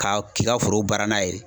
K'a k'i ka foro baara n'a ye.